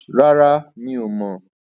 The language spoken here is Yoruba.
Rárá, mi ò mọ̀.